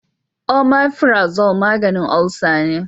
Omafirazol maganin olsa ne